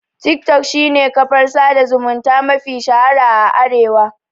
Tik tok shine kafar sada zumunta mafi shahara a Arewa